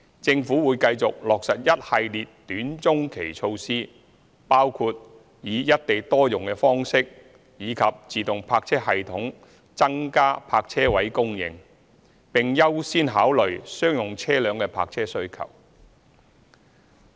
政府會繼續落實一系列短中期措施，包括以"一地多用"的方式及自動泊車系統增加泊車位供應，並優先考慮商用車輛的泊車需求。